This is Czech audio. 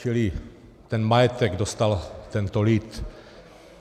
Čili ten majetek dostal tento lid.